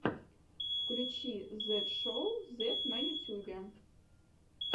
включи зет шоу зет на ютюбе